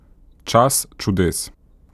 Čas čudes.